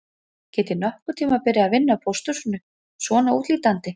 Get ég nokkurn tíma byrjað að vinna á pósthúsinu svona útlítandi